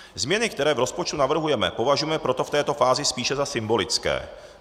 Změny, které v rozpočtu navrhujeme, považujeme proto v této fázi spíše za symbolické.